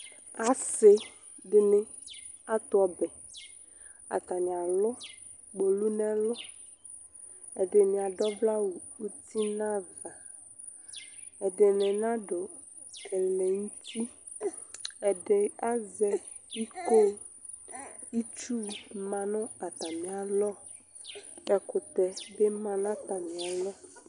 asi dɩnɩ atu ɔbɛ, atanɩ alu kpolu nɛlu, ɛdɩnɩ adu ɔvlɛ awu utin'ava, ɛdɩnɩ nadu ɛlɛnuti , edi azɛ iko, itsu ma nu atamialɔ, ɛkutɛ bɩ ma nu atamialɔ